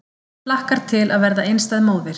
Hlakkar til að verða einstæð móðir